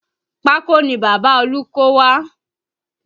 Pákó ni Bàbá olú kó wá